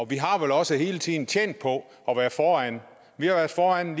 vi har vel også hele tiden tjent på at være foran vi har været foran